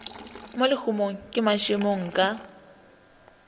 mo lehumong ke mašemo ka